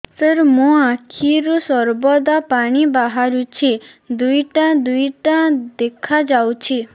ସାର ମୋ ଆଖିରୁ ସର୍ବଦା ପାଣି ବାହାରୁଛି ଦୁଇଟା ଦୁଇଟା ଦେଖାଯାଉଛି